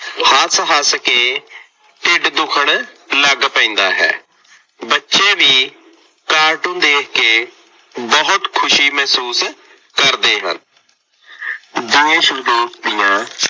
ਹੱਸ ਹੱਸ ਕੇ ਢਿੱਡ ਦੁੱਖਣ ਲੱਗ ਪੈਂਦਾ ਹੈ। ਬੱਚੇ ਵੀ ਕਾਰਟੂਨ ਦੇਖ ਕੇ ਬਹੁਤ ਖੁਸ਼ੀ ਮਹਿਸੂਸ ਕਰਦੇ ਹਨ। ਦੇਸ਼ ਵਿਦੇਸ਼ ਦੀਆਂ